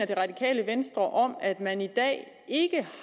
det radikale venstre mener om at man i dag ikke